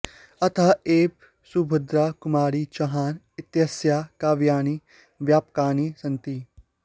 अतः एव सुभद्रा कुमारी चौहान इत्यस्याः काव्यानि व्यापकानि सन्ति